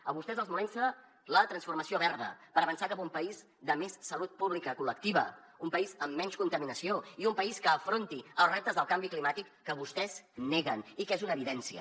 a vostès els molesta la transformació verda per avançar cap a un país de més salut pública col·lectiva un país amb menys contaminació i un país que afronti els reptes del canvi climàtic que vostès neguen i que és una evidència